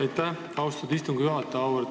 Aitäh, austatud istungi juhataja!